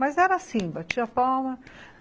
Mas era assim, batia palma.